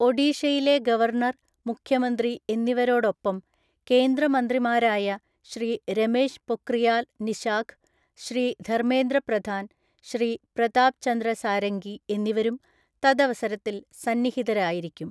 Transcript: ഒഡീഷയിലെ ഗവര്‍ണര്‍, മുഖ്യമന്ത്രി എന്നിവവേരാടൊപ്പം കേന്ദ്ര മന്ത്രിമാരായ ശ്രീ രമേശ് പൊക്രിയാല്‍ നിശാഖ്, ശ്രീ ധര്മ്മേന്ദ്രപ്രധാന്‍, ശ്രീ പ്രതാപ് ചന്ദ്ര സാരംഗി എന്നിവരും തദവസരത്തില്‍ സന്നിഹിതരായിരിക്കും.